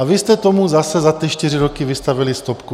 A vy jste tomu zase za ty čtyři roky vystavili stopku.